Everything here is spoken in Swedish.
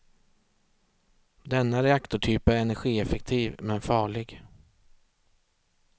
Denna reaktortyp är energieffektiv, men farlig.